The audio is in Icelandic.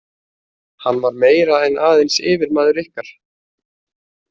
Hann var meira en aðeins yfirmaður ykkar?